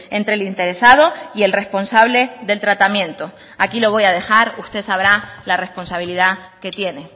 entre el interesado y el responsable del tratamiento aquí lo voy a dejar usted sabrá la responsabilidad que tiene